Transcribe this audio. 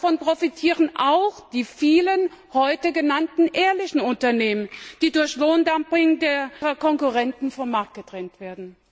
Davon profitieren auch die vielen heute genannten ehrlichen Unternehmen, die durch Lohndumping ihrer Konkurrenten vom Markt gedrängt werden.